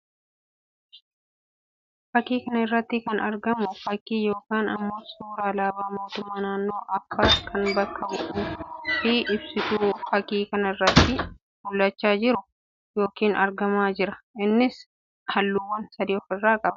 Fakkii kana irratti kan argamu fakkii yookiin immoo suuraa alaabaa mootummaa naannoo Affaar kan bakka bu'uu fi ibsutu fakkìi kana irratti mullachaa jira yookiin argamaa jira. Innis halluuwwan sadii of irraa qaba.